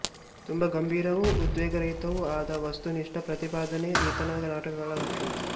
ತುಂಬ ಗಂಭೀರವೂ ಉದ್ವೇಗರಹಿತವೂ ಆದ ವಸ್ತುನಿಷ್ಠ ಪ್ರತಿಪಾದನೆ ಈತನ ನಾಟಕಗಳ ಲಕ್ಷಣ